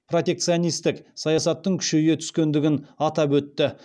протекционистік саясаттың күшейе түскендігін атап өтті